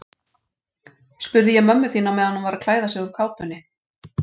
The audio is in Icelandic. spurði ég mömmu þína meðan hún var að klæða sig úr kápunni.